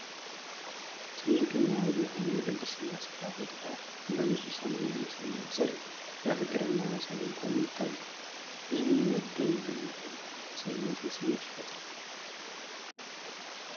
ትልቁና ውብ የሆነው የቅድስት ሥላሴ ካቴድራል በንፁህ ሰማያዊ ሰማይ ስር በፍቅር እና በሰላም ቆሞ ይታያል፤ ይህም የመደነቅን እና የመንፈሳዊነትን ስሜት ይፈጥራል።